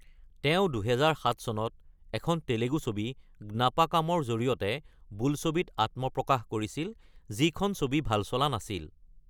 তেওঁঁ ২০০৭ চনত এখন তেলেগু ছবি গ্নাপাকাম-ৰ জৰিয়তে বোলছবিত আত্মপ্ৰকাশ কৰিছিল, যিখন ছবি ভাল চলা নাছিল।